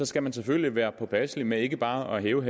skal man selvfølgelig være påpasselig med ikke bare at hæve